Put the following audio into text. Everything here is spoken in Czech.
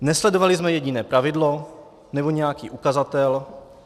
Nesledovali jsme jediné pravidlo nebo nějaký ukazatel.